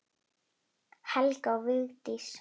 Helga og Vigdís.